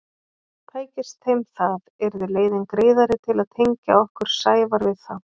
Tækist þeim það yrði leiðin greiðari til að tengja okkur Sævar við þá.